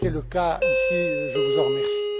C'était le cas ici, je vous en remercie.